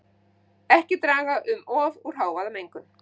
Ekki draga um of úr hávaðamengun